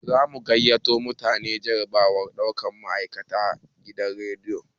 Zamu gayyato mutane jarabawar ɗaukan ma'aikatan gidan radio